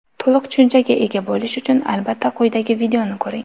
To‘liq tushunchaga ega bo‘lish uchun albatta quyidagi videoni ko‘ring!